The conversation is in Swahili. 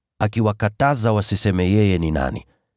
akiwakataza wasiseme yeye ni nani.